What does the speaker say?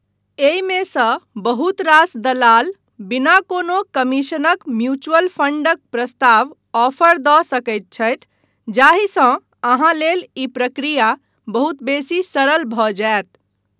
एहिमे सँ बहुत रास दलाल बिना कोनो कमीशनक म्यूचुअल फंडक प्रस्ताव ऑफर दऽ सकैत छथि, जाहिसँ अहाँ लेल ई प्रक्रिया बहुत बेसी सरल भऽ जायत।